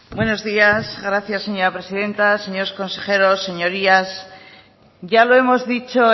buenos días gracias señora presidenta señores consejeros señorías ya lo hemos dicho